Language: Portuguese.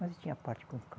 Mas ele tinha parte com o cão.